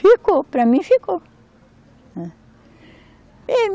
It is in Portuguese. Ficou, para mim ficou.